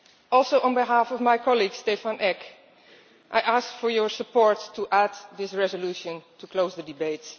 Also, on behalf of my colleague, Stefan Eck, I ask for your support to add this resolution to close the debate.